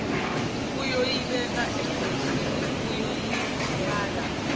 kuyoyibeka engozini yokulimala